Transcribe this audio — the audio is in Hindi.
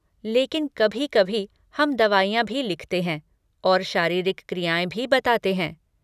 लेकिन कभी कभी हम दवाइयाँ भी लिखते हैं और शारीरिक क्रियाएँ भी बताते हैं।